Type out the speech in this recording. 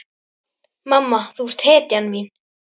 Mamma, þú ert hetjan mín.